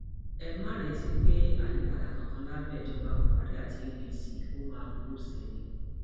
ẹ má retí pé àyípadà kankan lábẹ ìjọba buhari àti apc ó máa burú sí i ni